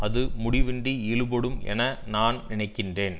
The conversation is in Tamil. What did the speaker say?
அது முடிவின்றி இழுபடும் என நான் நினைக்கின்றேன்